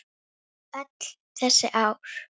Kannski biði hennar ekkert.